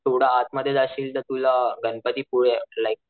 थोडं आतमध्ये जाशील तर तुला गणपतीपुळे लाइक,